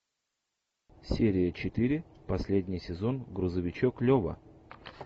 серия четыре последний сезон грузовичок лева